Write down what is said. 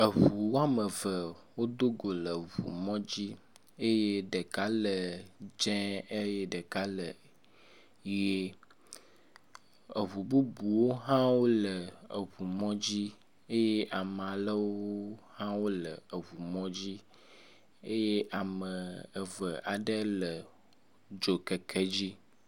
Eŋu woame eve wodo go le ŋu mɔ dzi eye ɖeka le dzẽ eye ɖeka le ʋie. Eŋu bubuwo hãwo le eŋu mɔdzi eye ame alewo hã wole eŋu mɔdzi eye ame eve aɖe le dzokeke dzi.